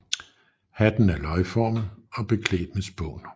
Hatten er løgformet og beklædt med spån